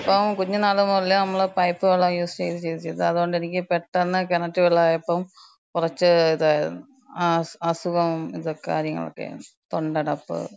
അപ്പം കുഞ്ഞ്നാള് മുതല് നമ്മള് പൈപ്പ് വെള്ളം യൂസ്ചെയ്ത് ചെയ്ത് ചെയ്ത്, അതോണ്ടെനിക്ക് പെട്ടന്ന് കെണറ്റ് വെള്ളായപ്പം കൊറച്ച് ഇതായിരുന്നു. ആ, ആസുഖം ദൊക്കെ കാര്യങ്ങളൊക്ക്യായി. തൊണ്ടടപ്പ്.